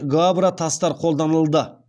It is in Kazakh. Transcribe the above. гаабра тастар қолданылды